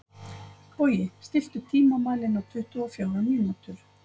Bogi, stilltu tímamælinn á tuttugu og fjórar mínútur.